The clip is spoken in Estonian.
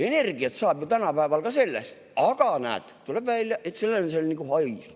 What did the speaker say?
Energiat saab ju tänapäeval ka sellest, aga näed, tuleb välja, et seal on nagu hais.